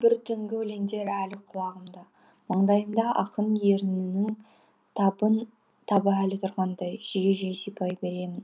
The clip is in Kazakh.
бір түңгі өлеңдер әлі құлағымда маңдайымда ақын ернінің табы әлі тұрғандай жиі жиі сипай беремін